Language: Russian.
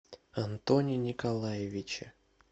антоне николаевиче